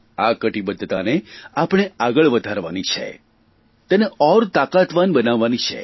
આ કટીબદ્ધતાને આપણે આગળ વધારવાની છે તેને ઓર તાકાતવાન બનાવવાની છે